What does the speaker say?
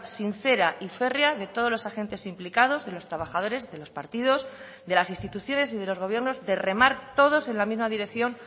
sincera y férrea de todos los agentes implicados de los trabajadores de los partidos de las instituciones y de los gobiernos de remar todos en la misma dirección